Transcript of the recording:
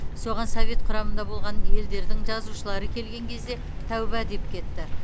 соған совет құрамында болған елдердің жазушылары келген кезде тәубә деп кетті